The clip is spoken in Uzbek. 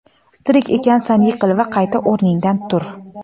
Tirik ekansan yiqil va qayta o‘rningdan tur.